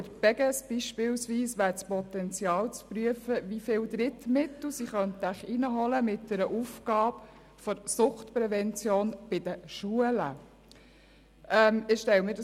Bei der Beges beispielsweise wäre das Potenzial dahingehend zu prüfen, wie viele Drittmittel sie mit einer Aufgabe der Suchtprävention in den Schulen einholen könnten.